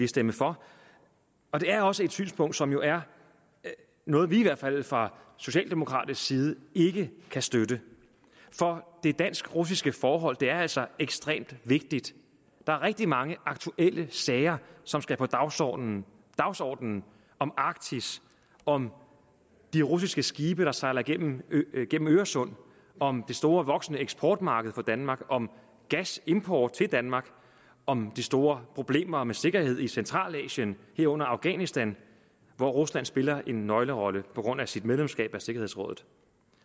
stemmer for og det er også et synspunkt som jo er noget vi i hvert fald fra socialdemokratisk side ikke kan støtte for det dansk russiske forhold er altså ekstremt vigtigt der er rigtig mange aktuelle sager som skal på dagsordenen dagsordenen om arktis om de russiske skibe der sejler gennem øresund om det store og voksende eksportmarked for danmark om gasimport til danmark om de store problemer med sikkerhed i centralasien herunder afghanistan hvor rusland spiller en nøglerolle på grund af sit medlemskab af sikkerhedsrådet